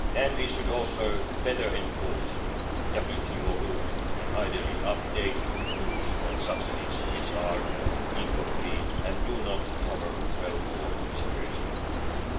We should also better enforce WTO rules and, ideally, update rules on subsidies which are incomplete and do not cover all situations well.